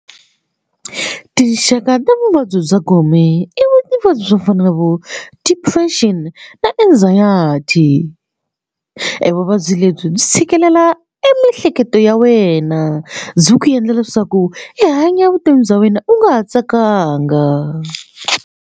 Tinxaka ta vuvabyi bya gome i vuvabyi byo fana na vo depression na anxiety e vuvabyi lebyi byi tshikelela e miehleketo ya wena byi ku endla leswaku i hanya vutomi bya wena u nga ha tsakanga.